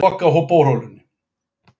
Stefna að því að loka borholunni